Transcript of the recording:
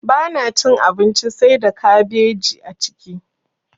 Bana cin abinci saida kabeji a ciki.